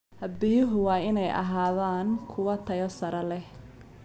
Biyuhu waa inay ahaadaan kuwo tayo sare leh.